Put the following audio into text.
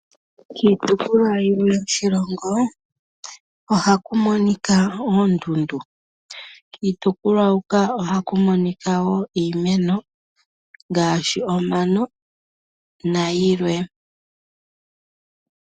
Miitopolwa yimwe yoshilongo ohaku monika oondundu kiitukulwa hoka ohaku monika omano nayilwe.